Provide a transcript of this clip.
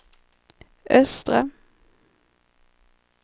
östra